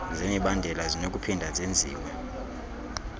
zemibandela zinokuphinda zenziwe